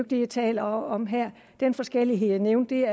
det jeg taler om her den forskellighed jeg nævnte